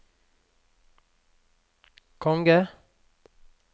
konge